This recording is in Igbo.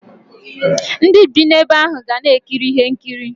Ndi bii ebe ahu ga na ekiri ihe nkiri.